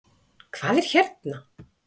Hvað er hérna?